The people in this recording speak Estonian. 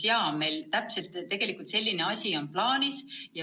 Jaa, meil täpselt selline asi ongi plaanis.